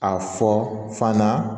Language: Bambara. A fɔ fana